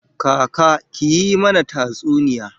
Kaka, ki yi mana tatsuniya